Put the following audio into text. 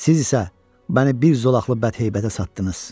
Siz isə məni bir zolaqlı bədheyətə satdınız.